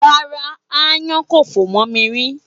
Rárá, aáyán kò fò mọ́ mi rí.